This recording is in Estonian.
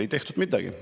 Ei tehtud midagi.